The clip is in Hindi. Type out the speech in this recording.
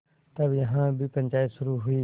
तब यहाँ भी पंचायत शुरू हुई